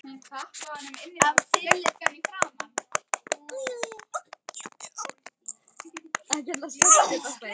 Færslan veldur því að sérstakur bundinn sjóður myndast í félaginu.